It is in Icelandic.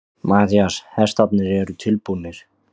MATTHÍAS: Hestarnir eru tilbúnir.